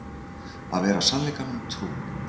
Að vera sannleikanum trú